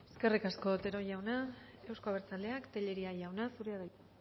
eskerrik asko otero jauna euzko abertzaleak tellería jauna zurea da hitza